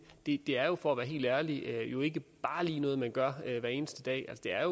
det er for at være helt ærlig jo ikke bare lige noget man gør hver eneste dag det er